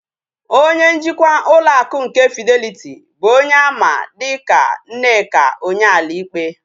Onye njikwa ụlọ akụ nke Fideliti bụ onye a ma dịka Nneka Onyeali-Ikpe